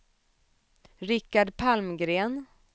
Richard Palmgren